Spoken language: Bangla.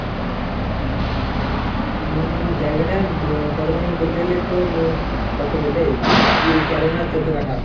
উম জায়গাটা ব কতখানি তোর বলতে গেলে তোর, কত বলে, ইয়ে তেরো না চোদ্দ কাঠা।